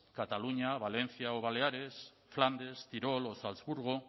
cataluña valencia o baleares flandes tirol o salzburgo